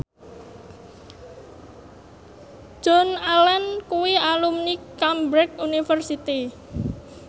Joan Allen kuwi alumni Cambridge University